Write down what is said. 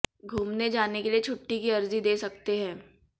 घुमने जाने के लिए छुट्टी की अर्जी दे सकते हैं